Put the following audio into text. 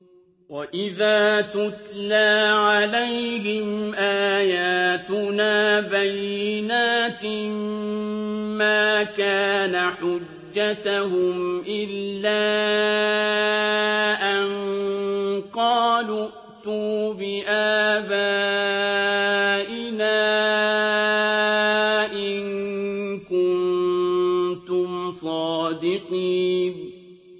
وَإِذَا تُتْلَىٰ عَلَيْهِمْ آيَاتُنَا بَيِّنَاتٍ مَّا كَانَ حُجَّتَهُمْ إِلَّا أَن قَالُوا ائْتُوا بِآبَائِنَا إِن كُنتُمْ صَادِقِينَ